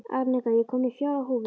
Arnika, ég kom með fjórar húfur!